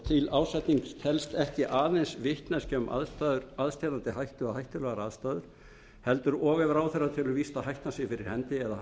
til ásetnings telst ekki aðeins vitneskja um aðstæður aðsteðjandi hættu eða hættulegar aðstæður heldur og ef ráðherra telur víst að hættan sé fyrir hendi eða hann